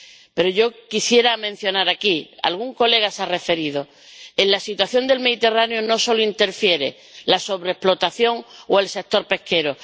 Pero yo quisiera mencionar aquí —algún colega ya se ha referido a ello— que en la situación del Mediterráneo no solo interfiere la sobreexplotación o el sector pesquero.